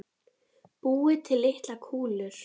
Búið til litlar kúlur.